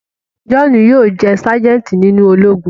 Johnu yóò jẹ sajenti nínú Ológùn